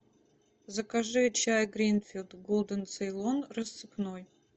закажи чай гринфилд голден цейлон рассыпной